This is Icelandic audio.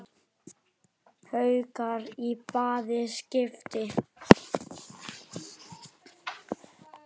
Haukar í bæði skipti.